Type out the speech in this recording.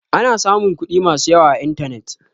Ana samun kuɗi masu yawa a intanet.